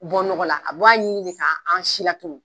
Bɔ nɔgɔla a buwa ɲini de ka an si latunu..